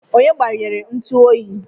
Onye gbanyere ntu oyi?